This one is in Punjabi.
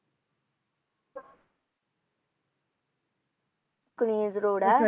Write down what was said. ਕ੍ਰੀਜ਼ road ਹੈ